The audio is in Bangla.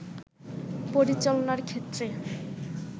পরিচালনার ক্ষেত্রে